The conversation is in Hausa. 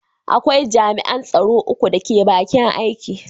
Akwai jami’an tsaro uku da ke bakin aiki.